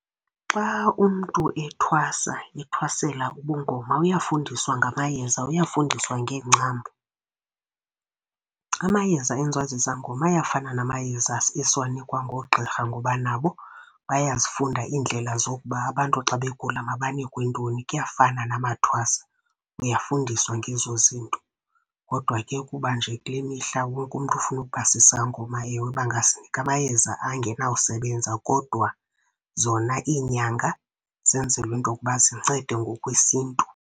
Xa umntu ethwasa, ethwasela ubungoma uyafundiswa ngamayeza, uyafundiswa ngeengcambu. Amayeza enziwa zizangoma ayafana namayeza esiwanikwa ngoogqirha, ngoba nabo bayazifunda iindlela zokuba abantu xa begula mabanikwe ntoni. Kuyafana namathwasa niyafundiswa ngezo zinto. Kodwa ke kuba nje kule mihla wonke umntu ufuna ukuba sisangoma bangasinika amayeza angenawusebenza, kodwa zona iinyanga zenzelwe into yokuba zincede ngokwesiNtu.